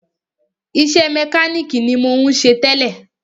Iṣẹ́ mẹkánìkì ni mò ń ṣe tẹ́lẹ̀.